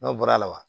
N'o bɔra a la wa